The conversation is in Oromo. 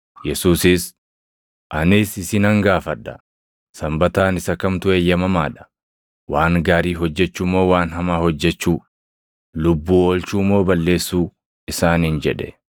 Yesuusis, “Anis isinan gaafadha; Sanbataan isa kamtu eeyyamamaa dha? Waan gaarii hojjechuu moo waan hamaa hojjechuu? Lubbuu oolchuu moo balleessuu?” isaaniin jedhe.